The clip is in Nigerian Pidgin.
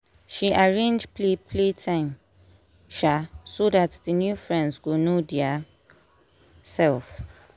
she arrange play play time um so dat d new friends go know dia self